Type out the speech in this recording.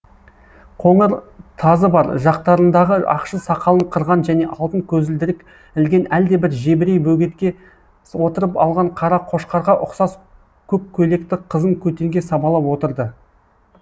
қоңыр тазы бар жақтарындағы ақшыл сақалын қырған және алтын көзілдірік ілген әлдебір жебірей бөгетке отырып алған қара қошқарға ұқсас көк көйлекті қызын көтенге сабалап отырды